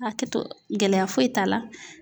Hakɛto gɛlɛya foyi t'a la .